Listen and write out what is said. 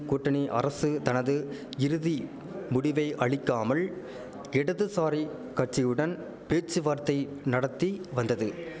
கூட்டணி அரசு தனது இறுதி முடிவை அளிக்காமல் இடதுசாரிக் கட்சியுடன் பேச்சுவார்த்தை நடத்தி வந்தது